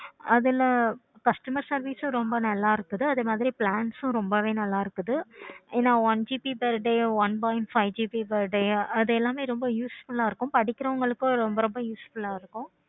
அதுல customer service ரொம்பவே நல்ல இருக்குது. அதுவே plans ரொம்ப நல்ல இருக்குது. என one GB per day one point five GB per day அது எல்லாமே ரொம்ப useful ஆஹ் இருக்கும். படிக்கிறவங்களுக்கு ரொம்பவே useful ஆஹ் இருக்கும்.